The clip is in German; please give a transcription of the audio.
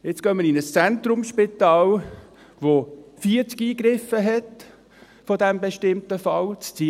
Jetzt gehen wir in ein Zentrumsspital, welches 40 Eingriffe dieses bestimmten Falls hat.